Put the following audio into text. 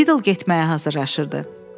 Biddel isitməyə hazırlaşırdı.